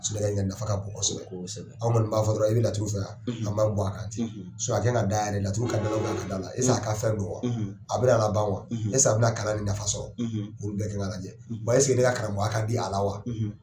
Su nafa ka bom kosɛbɛ aw b'a fɔ dɔrɔn i bɛ laturu fɛ anw b'an bom a kan ten sinon a kan da yɛrɛ le laturu ka danaba ka dala est ce que a k'affaire don wa a bɛ na laban wa est ce que a bɛna kalan ni nafa sɔrɔ olu bɛɛ ka kan lajɛ wa est ce que ne ka karamɔgɔya kadi a la wa